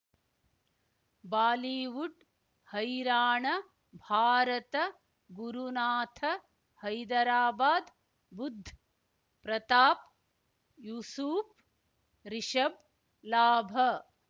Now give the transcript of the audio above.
Bollywood ಹೈರಾಣ ಭಾರತ ಗುರುನಾಥ ಹೈದರಾಬಾದ್ ಬುಧ್ ಪ್ರತಾಪ್ ಯೂಸುಫ್ ರಿಷಬ್ ಲಾಭ